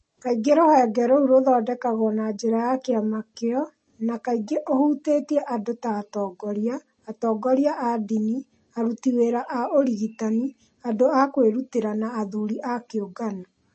Kaingĩ rũhonge rũu rũthondekagwo na njĩra ya kĩama kĩo, na kaingĩ ũhutĩtie andũ ta atongoria, atongoria a ndini, aruti wĩra a ũrigitani, andũ a kwĩrutĩra, na athuri a kĩũngano.